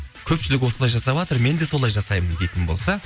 көпшілік осылай жасаватыр мен де солай жасаймын дейтін болса